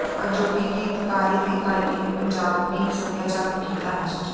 ਅਜੋਕੀ ਗੀਤਕਾਰੀ ਤੇ ਗਾਇਕੀ ਨੇ ਪੰਜਾਬੀ ਸਭਿਆਚਾਰ ਨੂੰ ਕੀਤਾ ਨਸ਼ਟ